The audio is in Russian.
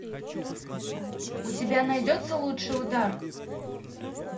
у тебя найдется лучший удар